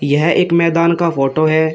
यह एक मैदान का फोटो है।